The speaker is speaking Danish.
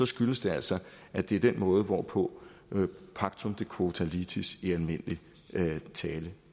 skyldes det altså at det er den måde hvorpå pactum de quota litis i almindelig tale